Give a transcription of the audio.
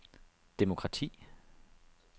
demokrati